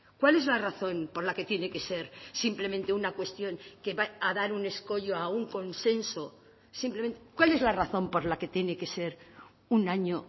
cuál es la razón por la que tiene que ser simplemente una cuestión que va a dar un escollo a un consenso simplemente cuál es la razón por la que tiene que ser un año